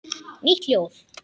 Nýtt ljóð.